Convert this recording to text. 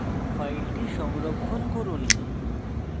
file সংরক্ষণ করুন